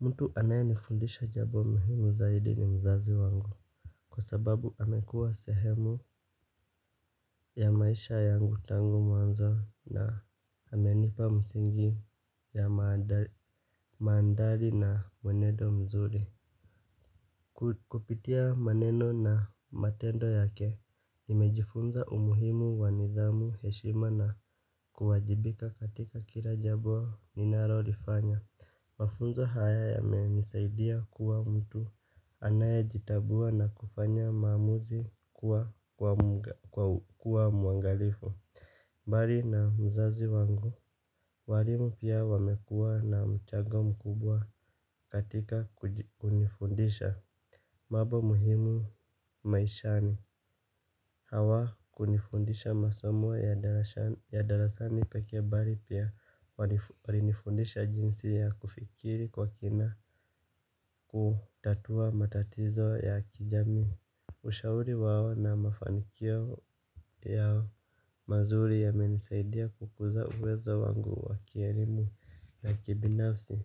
Mtu anaye nifundisha jambo muhimu zaidi ni mzazi wangu. Kwa sababu amekuwa sehemu ya maisha yangu tangu mwanzo na amenipa msingi ya mandhari na mwenedo mzuri. Kupitia maneno na matendo yake, nimejifunza umuhimu wa nidhamu heshima na kuwajibika katika kila jambo ninalolifanya. Mafunzo haya yamenisaidia kuwa mtu anayejitambua na kufanya maamuzi kuwa muangalifu. Bali na mzazi wangu, walimu pia wamekuwa na mchango mkubwa katika kunifundisha. Mambo muhimu maishani hawa kunifundisha masomo ya darasani pekee bali pia walinifundisha jinsi ya kufikiri kwa kina kutatua matatizo ya kijami. Ushauri wao na mafanikio ya mazuri yamenisaidia kukuza uwezo wangu wa kielimu na kibinafsi.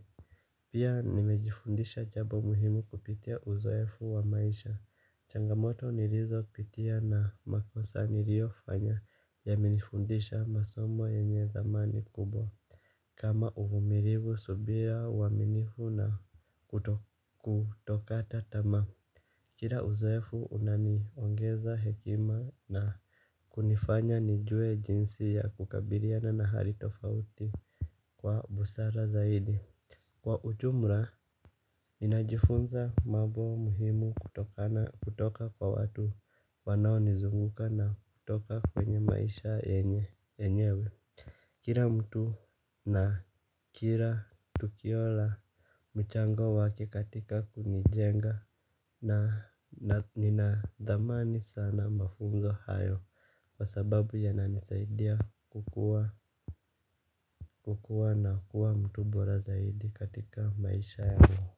Pia nimejifundisha jambo muhimu kupitia uzoefu wa maisha. Changamoto nilizo pitia na makosa niliofanya yamenifundisha masomo yenye dhamani kubwa. Kama uvumilivu subira uaminifu na kutokata tamaa. Kila uzoefu unaniongeza hekima na kunifanya nijue jinsi ya kukabiliana na hali tofauti kwa busara zaidi. Kwa ujumla, ninajifunza mambo muhimu kutokana kutoka kwa watu wanaonizunguka na kutoka kwenye maisha yenyewe. Kila mtu na kila tukio la mchango wake katika kunijenga na nina thamani sana mafunzo hayo. Kwa sababu yananisaidia kukuwa na kuwa mtu bora zaidi katika maisha yangu.